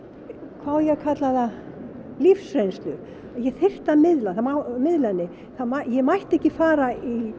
hvað á ég að kalla það lífsreynslu og ég þyrfti að miðla miðla henni ég mætti ekki fara